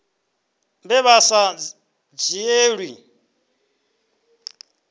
vhe vha vha sa dzhielwi